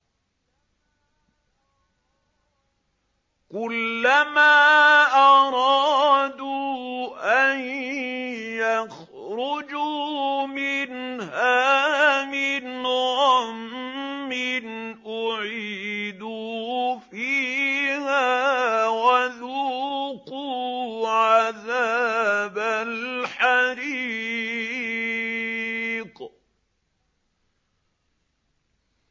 كُلَّمَا أَرَادُوا أَن يَخْرُجُوا مِنْهَا مِنْ غَمٍّ أُعِيدُوا فِيهَا وَذُوقُوا عَذَابَ الْحَرِيقِ